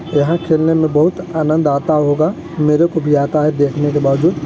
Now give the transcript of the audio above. यहाँ खेलने में बहुत आनंद आता होगा मेरे को भी आता देखने के बावजूद--